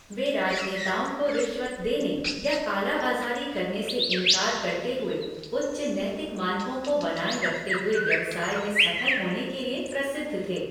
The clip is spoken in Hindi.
वे राजनेताओं को रिश्वत देने या काला बाज़ारी करने से इनकार करते हुए उच्च नैतिक मानकों को बनाए रखते हुए व्यवसाय में सफल होने के लिए प्रसिद्ध थे।